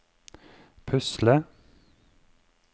pusle